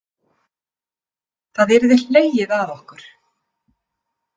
Það yrði hlegið að okkur.